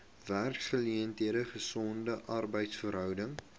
werksgeleenthede gesonde arbeidsverhoudinge